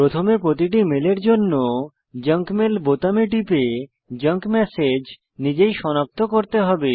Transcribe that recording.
প্রথমে প্রতিটি মেলের জন্য জাঙ্ক মেল বোতামে টিপে জাঙ্ক ম্যাসেজ নিজেই সনাক্ত করতে হবে